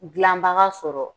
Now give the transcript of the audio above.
Gilanbaga sɔrɔ